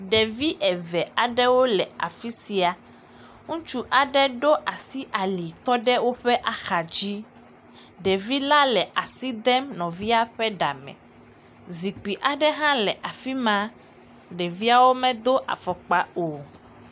Ɖevi eve aɖewo le afi sia. Ŋutsu aɖe ɖo asi ali tɔ ɖe woƒe ahadzi. Ɖevila le asi dem nɔvia ƒe ɖame. Zikpi aɖe hã le afi ma. Ɖeviawo medo afɔkpa o.